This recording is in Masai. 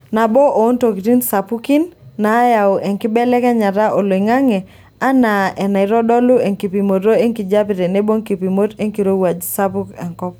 Nabo oontokitin sapukin naayau enkibelekenyata oloingange anaa enaitodolu enkipimoto enkijape tenebo nkipimot enkirowuaj sapuk enkop.